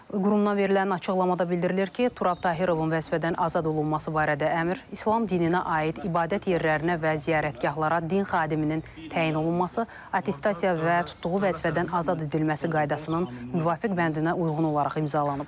Qurumdan verilən açıqlamada bildirilir ki, Turab Tahirovun vəzifədən azad olunması barədə əmr İslam dininə aid ibadət yerlərinə və ziyarətgahlara din xadiminin təyin olunması, attestasiya və tutduğu vəzifədən azad edilməsi qaydasının müvafiq bəndinə uyğun olaraq imzalanıb.